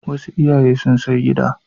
Wasu iyaye sun sai gida.